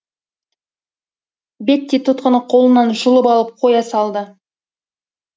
бетти тұтқаны қолынан жұлып алып қоя салады